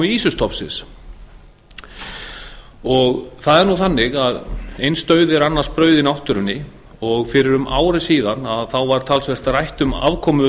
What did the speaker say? ýsustofnsins það er nú þannig að eins dauði er annars brauð í náttúrunni og fyrir um ári síðan var talsvert rætt um afkomu